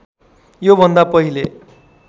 यो भन्दा पहिले